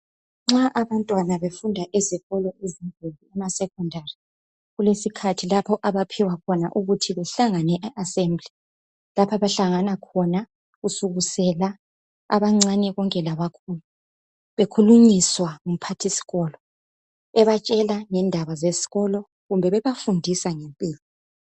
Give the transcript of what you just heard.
Nxa abantwana befunda ezikolo ezinkulu emasecondary ,kulesikhathi lapho abaphiwakhona ukuthi behlangane e assembly. Lapha abahlangana khona kusukisela abancane konke labakhulu .Bekhulunyiswa ngumphathisikolo ebatshela ngendaba zesikolo kumbe bebafundisa ngempilo.